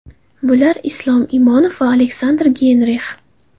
Bular: Islom Inomov va Aleksandr Geynrix.